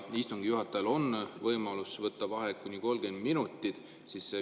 Istungi juhatajal on võimalus võtta vaheaeg kuni 30 minutit.